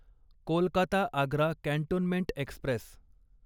Kolkata Agra cantonment Express